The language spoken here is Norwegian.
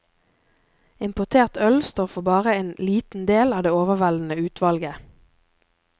Importert øl står for bare en liten del av det overveldende utvalget.